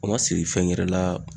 O ma siri fɛn wɛrɛ la